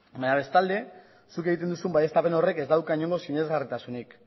bestalde zuk egiten duzun baieztapen horrek ez dauka inongo sinesgarritasunik